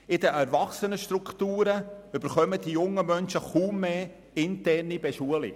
In den Erwachsenenstrukturen erhalten die jungen Menschen kaum mehr interne Schulung.